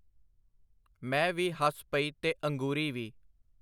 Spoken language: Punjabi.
ਮੈਂ ਵੀ ਹੱਸ ਪਈ ਤੇ ਅੰਗੂਰੀ ਵੀ.